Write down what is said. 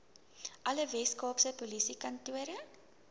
alle weskaapse polisiekantore